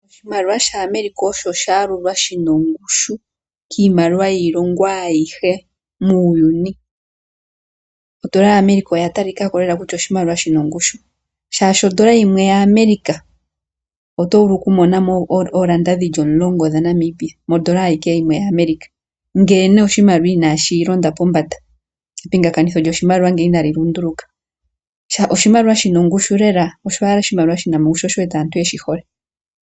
Oshimaliwa shAmerica osho sha yalulwa shi na ongushu kiimaliwa yiilongo ayihe muuyuni. Odola yaAmerica oya talika ko lela kutya oshimaliwa shi na ongushu, shaashi odola yimwe yAmerica oto vulu okumona mo oodola omulongo dhaNamibia, ngele oshimaliwa inashilonda pombanda, epingakanitho lyoshimaliwa ngele inali lunduluka. Oshimaliwa shi na ongushu lela, osho owala oshimaliwa shi na ongushu, sho osho wu wete aantu ye shi hole.